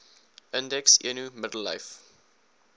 indeks eno middellyf